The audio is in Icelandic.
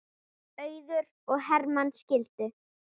Auður og Hermann skildu.